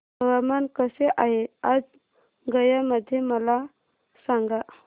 हवामान कसे आहे आज गया मध्ये मला सांगा